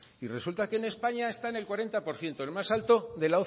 y resulta que en españa están en el cuarenta por ciento el más alto de